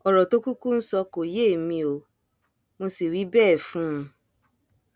ọrọ tó kúkú ń sọ kò yé èmi ò mọ sí wí bẹẹ fún un